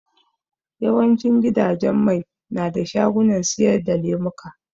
Yawan cin gidajen mai na da shagunan siyar da lemuka